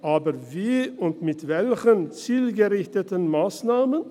Aber wie und mit welchen zielgerichteten Massnahmen?